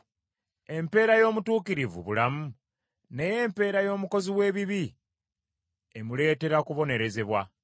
Empeera y’omutuukirivu bulamu, naye empeera y’omukozi w’ebibi emuleetera kubonerezebwa.